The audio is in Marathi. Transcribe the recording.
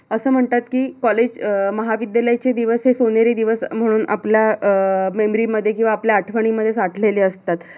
अस म्हणतात कि college महाविद्यालयाचे दिवस हे सोनेरी म्हणून आपल्या अं आपल्या memory मध्ये किवा आपल्या आठवणीमध्ये साठलेले असतात.